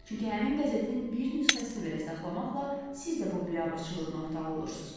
Çünki həmin qəzetin bir nüsxəsini belə saxlamaqla siz də bu biabırçılığın ortağı olursuz.